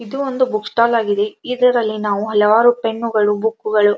ಇದು ಒಂದು book stall ಆಗಿದೆ ಇದರಲ್ಲಿ ನಾವು ಹಲವಾರು ಪೆನ್ನುಗಳು ಬುಕ್ಗಳು --